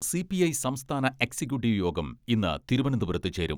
CPI സംസ്ഥാന executive യോഗം ഇന്ന് തിരുവനന്തപുരത്ത് ചേരും.